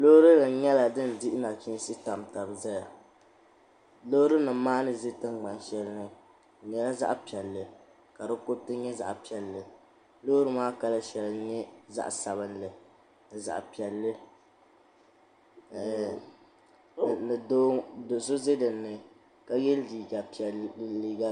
Loori nima nyɛla din dihi nachinsi tam tam taba zaya loori nima maa ni ʒi tingbani shɛli ni ŋɔ di nyɛla zaɣa piɛlli ka di kuriti nyɛ zaɣa piɛlli loori maa kala sheli nyɛla zaɣa sabinli ni zaɣa piɛlli do'so za dinni ka ye liiga piɛli.